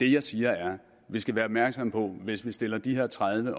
det jeg siger er at vi skal være opmærksomme på at hvis vi stiller de her tredive